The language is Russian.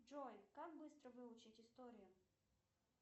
джой как быстро выучить историю